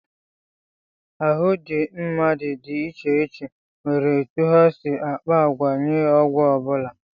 Ahụ ndị mmadụ dị iche iche nwere etu ha si akpa àgwà nye ọgwụ ọ bụla